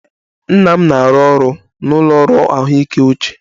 Nna m na-arụ ọrụ n'ụlọ ọrụ ahụike uche